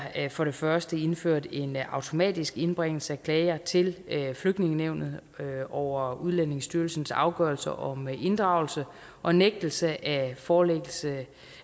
for det første indført en automatisk indbringelse af klager til flygtningenævnet over udlændingestyrelsens afgørelser om inddragelse og nægtelse af forlængelse